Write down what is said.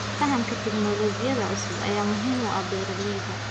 Fahamka tignoolajiyada cusub ayaa muhiim u ah beeralayda.